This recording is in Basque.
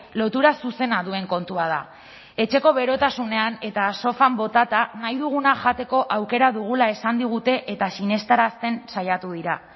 lotura zuzena duen kontua da etxeko berotasunean eta sofan botata nahi duguna jateko aukera dugula esan digute eta sinestarazten saiatu dira